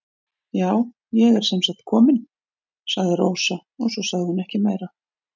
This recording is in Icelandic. Já, ég er sem sagt komin, sagði Rósa og svo sagði hún ekki meira.